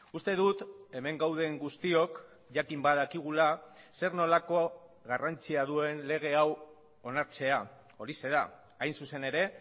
uste dut hemen gauden guztiok jakin badakigula zer nolako garrantzia duen lege hau onartzea horixe da hain zuzen ere